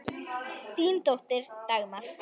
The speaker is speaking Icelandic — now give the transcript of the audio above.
Þín dóttir, Dagmar.